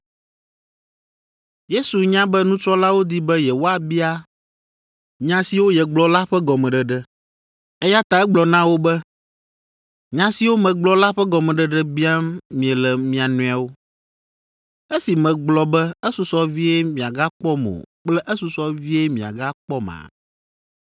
Yesu nya be nusrɔ̃lawo di be yewoabia nya siwo yegblɔ la ƒe gɔmeɖeɖe, eya ta egblɔ na wo be, “Nya siwo megblɔ la ƒe gɔmeɖeɖe biam miele mia nɔewo, esi megblɔ be esusɔ vie miagakpɔm o kple esusɔ vie miagakpɔma?